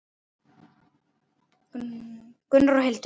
Gunnar og Hildur.